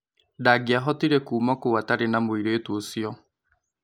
Ndangiahotire kuuma kũu atarĩ na mũirĩtu ũcio.